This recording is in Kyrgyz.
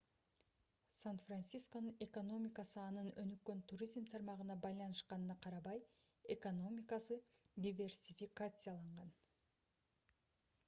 сан-францисконун экономикасы анын өнүккөн туризм тармагына байланышканына карабай экономикасы диверсификацияланган